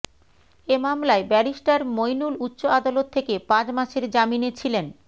এ মামলায় ব্যারিস্টার মইনুল উচ্চ আদালত থেকে পাঁচ মাসের জামিনে ছিলেন